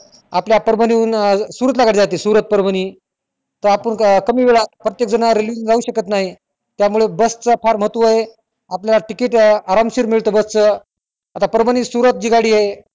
आपल्या परभणी हुन अं सुरत ला गाडी जाते सुरत परभणी त आपण कमी वेळात प्रत्येक ज ज railway ना जाऊ शकत नाही त्या मुले बस चा फार महत्त्व आहे आपल्याला ticket आराम शीर मिळत बस च आता परभणी सुरत ची गाडी आहे